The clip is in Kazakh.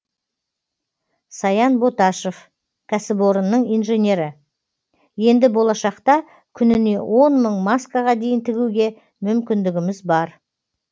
саян боташов кәсіпорынның инженері енді болашақта күніне он мың маскаға дейін тігуге мүмкіндігіміз бар